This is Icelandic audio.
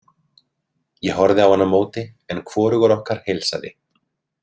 Ég horfði á hann á móti en hvorugur okkar heilsaði.